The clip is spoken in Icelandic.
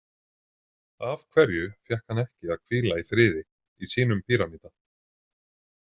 Af hverju fékk hann ekki að hvíla í friði í sínum pýramída?